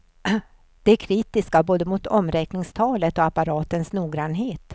De är kritiska både mot omräkningstalet och apparatens noggrannhet.